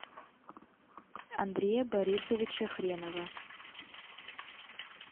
андрея борисовича хренова